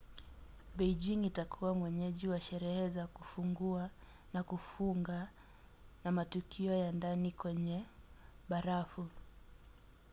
beijing itakuwa mwenyeji wa sherehe za kufungua na kufunga na matukio ya ndani kwenye barafu